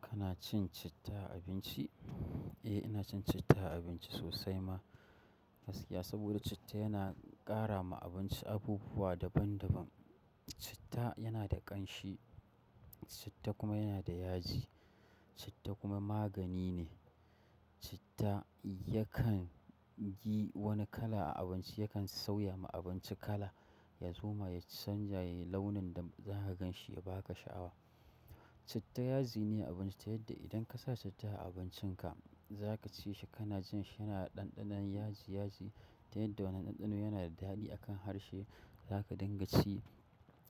Kana cin citta a abinci? Eh, ina cin citta a abinci sosai ma gaskiya. Saboda citta yana ƙara ma abinci abubuwa daban daban. Citta yana da ƙanshi, citta kuma yana da yaji, citta kuma magani ne. Citta yakan yi wani kala a abinci, yakan sauya ma abinci kala, ya zo ma ya canjaye launin da za ka gan shi ya ba ka sha'awa. Citta yaji ne a abinci, ta yadda idan ka sa citta a abincinka za ka ci shi kana jin shi yana da ɗanɗanon yaji yaji. Ta yadda wani ɗanɗano yana da daɗi akan harshe za ka dinga ci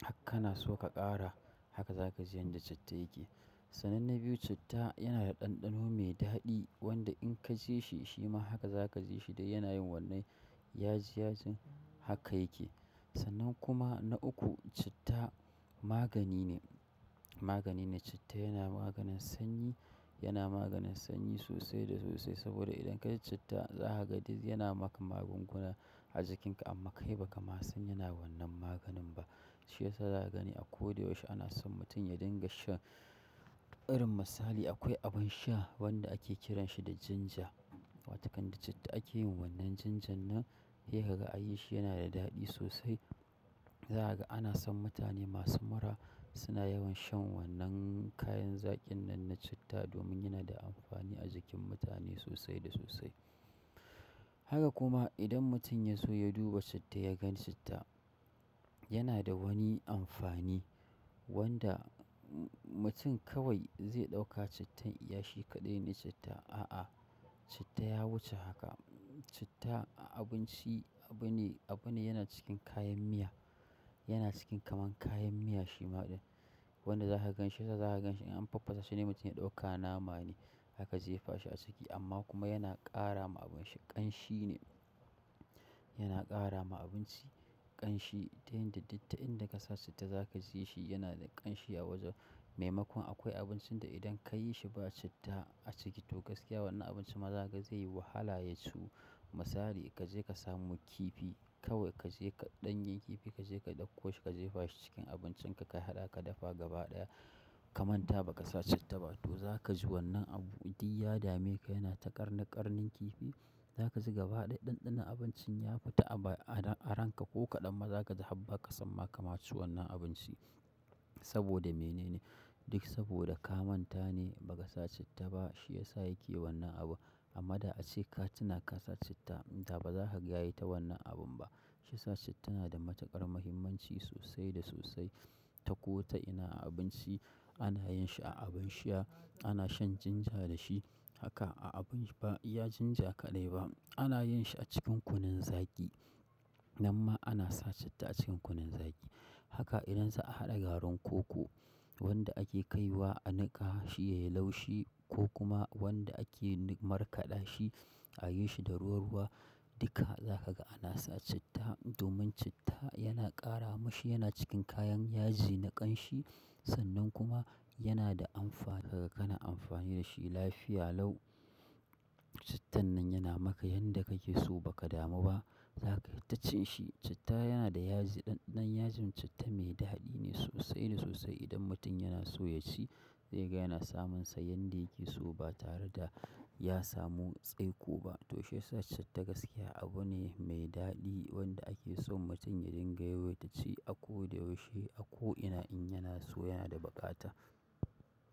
har kana so ka ƙara, haka za ka ji yanda citta yake. Sannan na biyu, citta yana da ɗanɗano mai daɗi wanda in ka ji shi, shima haka za ka ji shi dai yana yin wannan yaji yajin haka yake. Sanan kuma na uku, citta magani ne, magani ne. Citta yana maganin sanyi, yana maganin sanyi sosai da sosai. Saboda idan ka ci citta za ka ga duk yana ma ka magunguna a jikinka amma kai ba ka ma san yana wannan maganin ba. Shi yasa za ka gani a ko da yaushe ana son mutum ya dinga shan. Irin misali, akwai abin sha wanda ake kiran shi da ginger watoƙan da citta ake yin wannan ginger nan, yayin da ka yi shi yana da daɗi sosai. Za ka ga ana son mutane masu mura suna yawan shan wannan kayan zaƙin nan na citta domin yana da amfani a jikin mutane sosai da sosai. Haka kuma idan mutum ya so ya duba citta ya gan citta yana da wani amfani wanda mutum kawai zai ɗauka cittan iyashi kaɗai ne citta. A'a, citta ya wuce haka. Citta a abinci abu ne, abu ne yana cikin kayan miya. Yana cikin kamar kayan miya shima ɗin. Wanda za ka gan shi, sa ka gan shi in an faffasa saide mutum ya ɗauka nama ne haka zai fashe a saki. Amma kuma yana ƙara ma abinci ƙanshi ne. Yana kara ma abinci kanshi, ta yadda duk ta inda kasa su, to zaka ji shi yana da kanshi a wajen. Maimakon akwai abincin da idan ka yi shi ba citta a ciki to gaskiya wannan abinci ma za ka ga zai yi wahala ya ciwu. Misali ka je ka samu kifi kawai ka je ka ɗanye kifi ka je ka ɗauko shi ka je fashi cikin abincin ka ka haɗa ka dafa gaba ɗaya ka manta ba ka sa citta ba to za ka ji wannan abu, duk ya dame ka yana ta ƙarnin ƙarnin kifi. Za ka ji gaba ɗaya ɗanɗanon abincin ya fita a ranka ko kaɗan ma za ka ji habba ka san ma ka ci wannan abinci. Saboda mene ne? Duk saboda ka manta ne ba ka sa citta ba shi ya sa yake wannan abun. Amma da ace ka tuna ka sa citta, da ba za kaga ya yi ta wannan abun ba. Shi ya sa citta na da matuƙar muhimmanci sosai da sosai. Ta ko ta ina a abinci, ana yin shi a abun sha, ana shan ginger da shi. Haka a abinci ba iya ginger kaɗai ba. Ana yin shi a cikin kunun zaki. Nan ma ana sa citta a cikin kunun zaki. Haka idan za a haɗa garin koko wanda ake kai wa a niƙa shi yayi laushi ko kuma wanda ake markaɗa shi a yi shi da ruwa ruwa, duka za ka ga ana sa citta. Domin citta yana ƙara ma shi, yana cikin kayan yaji na ƙanshi. Sannan kuma yana da amfana, ka ga kana amfani da shi lafiya lau. Cittan nan yana maka yanda kake so baka damu ba. Za ka yi ta cin shi. Citta yana da yaji, ɗanɗanon yajin citta mai daɗi ne sosai da sosai. Idan mutum yana so ya ci zai ga yana samunsa yanda yake so ba tare da ya samu tsaiko ba. To shi ya sa citta gaskiya abu ne mai daɗi wanda ake son mutum ya dinga yawaita ci a ko da yaushe. A ko ina in yana so yana da buƙata.